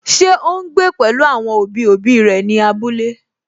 Ṣé ó ún gbé pẹ̀lú àwọn òbí òbí rẹ̀ ní abúlé?